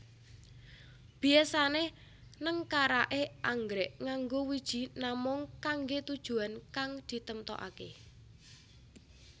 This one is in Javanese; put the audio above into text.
Biyasané nengkaraké anggrèk nganggo wiji namung kanggé tujuwan kang ditemtokaké